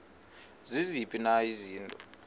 ziziphi na izinto